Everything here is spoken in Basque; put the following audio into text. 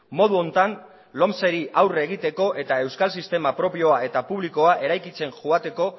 modu honetan lomceri aurre egiteko eta euskal sistema propioa eta publikoa eraikitzen joateko